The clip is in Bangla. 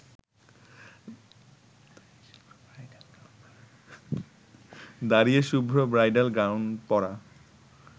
দাঁড়িয়ে শুভ্র ব্রাইডাল গাউন পরা